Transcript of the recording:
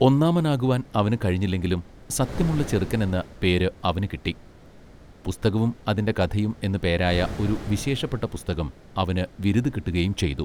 ഒന്നാമനാകുവാൻ അവന് കഴിഞ്ഞില്ലെങ്കിലും സത്യമുള്ള ചെറുക്കനെന്ന് പേര് അവന് കിട്ടി പുസ്തകവും അതിന്റെ കഥയും എന്ന് പേ പേരായ ഒരു വിശേഷപ്പെട്ട പുസ്തകം അവന് വിരുതു കിട്ടുകയും ചെയ്തു.